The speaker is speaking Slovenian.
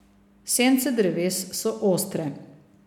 Sence dreves so ostre.